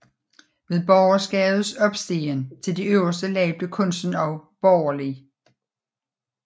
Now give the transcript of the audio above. Ved borgerskabets opstigen til de øverste lag blev kunsten også borgerlig